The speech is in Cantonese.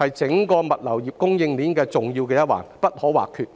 是整個物流供應鏈重要的一環，不可或缺。